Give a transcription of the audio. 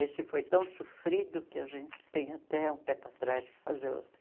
Esse foi tão sofrido que a gente tem até um pé para trás para fazer outro.